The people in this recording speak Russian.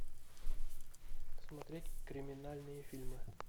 смотреть криминальные фильмы